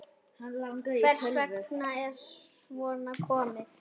Hvers vegna er svona komið?